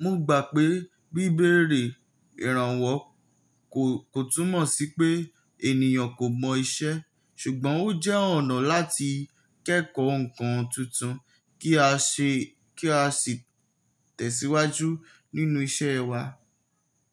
Mo gbà pé bíbèrè ìrànwọ́ ko kò túmọ̀ sí pé ènìyàn kò mọ iṣẹ́, ṣùgbọ́n ó jẹ́ ọ̀nà láti kẹ́kọ̀ọ́ ǹkan tuntun kí a se ki a sì tẹ̀síwájú nínú iṣẹ́ wa.